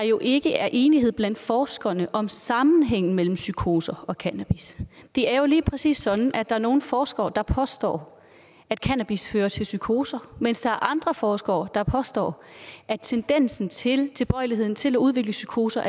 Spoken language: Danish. jo ikke er enighed blandt forskerne om sammenhængen mellem psykoser og cannabis det er jo lige præcis sådan at der er nogle forskere der påstår at cannabis fører til psykoser mens der er andre forskere der påstår at tendensen til tilbøjeligheden til at udvikle psykoser